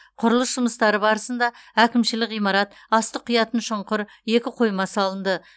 құрылыс жұмыстары барысында әкімшілік ғимарат астық құятын шұңқыр екі қойма салынды